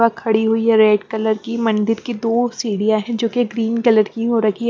बक खड़ी हुई है रेड कलर की मंदिर की दो सीढ़ियाँ हैं जोकि ग्रीन कलर की हो रखी है।